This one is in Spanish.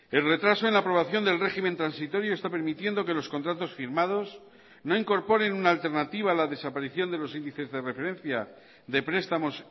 el retraso en la aprobación del régimen transitorio está permitiendo que los contratos firmados no incorporen una alternativa a la desaparición de los índices de referencia de prestamos